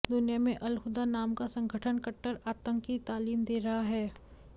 दुनिया में अलहुदा नाम का संगठन कट्टर आतंक की तालीम दे रहा है